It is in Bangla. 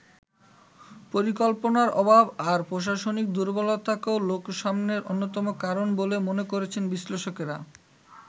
পরিকল্পনার অভাব আর প্রশাসনিক দুর্বলতাকেও লোকসানের অন্যতম কারণ বলে মনে করছেন বিশ্লেষকরা।